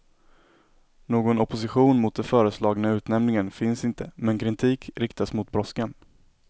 Någon opposition mot det föreslagna utnämningen finns inte men kritik riktas mot brådskan.